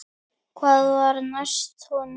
Hvað var næst honum?